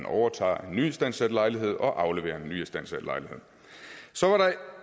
overtager en nyistandsat lejlighed og afleverer en nyistandsat lejlighed